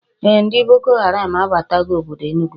Ee, ndi Boko Haram abatago obodo Enugu